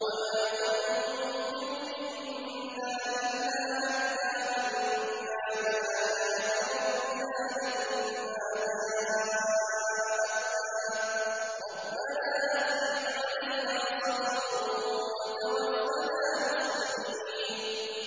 وَمَا تَنقِمُ مِنَّا إِلَّا أَنْ آمَنَّا بِآيَاتِ رَبِّنَا لَمَّا جَاءَتْنَا ۚ رَبَّنَا أَفْرِغْ عَلَيْنَا صَبْرًا وَتَوَفَّنَا مُسْلِمِينَ